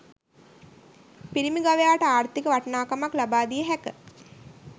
පිරිමි ගවයාට ආර්ථික වටිනාකමක් ලබා දිය හැක